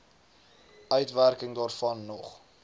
uitwerking daarvan nog